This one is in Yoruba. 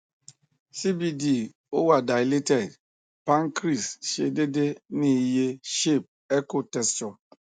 cbd o wa dilated pancreas se dede ni iye shape echo texture